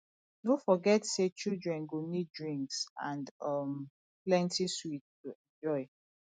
no forget say children go need drinks and um plenty sweets to enjoy